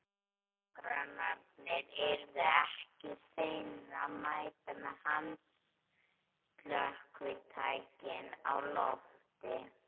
Nágrannarnir yrðu ekki seinir að mæta með handslökkvitækin á lofti.